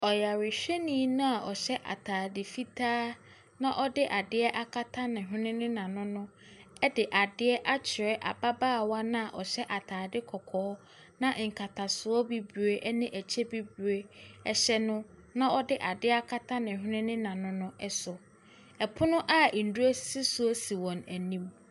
Ɔyarehwɛni no a ɔhyɛ atadeɛ fitaa na ɔde adeɛ akata ne hwene ne n'ano no de adeɛ akyerɛ ababaawa no a ɔhyɛ atadeɛ kɔkɔɔ na nkatasoɔ bibire ne ɛkyɛ bibire hyɛ no, na ɔde adeɛ akata ne hwene ne n'ano no so. Pono a nnuro sisi so si wɔn anim.